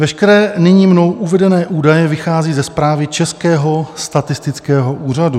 Veškeré nyní mnou uvedené údaje vycházejí ze zprávy Českého statistického úřadu.